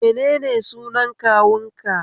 Menene sunan kawunka?